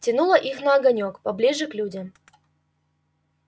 тянуло их на огонёк поближе к людям